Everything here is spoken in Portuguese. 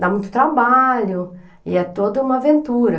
Dá muito trabalho e é toda uma aventura.